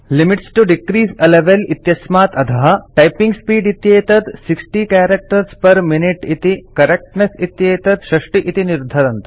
limits to decrease a level इत्यस्मात् अधः typing speed इत्येतत् 60 कैरेक्टर्स् पेर् मिनुते इति करेक्टनेस इत्येतत् 60 इति निर्धरन्तु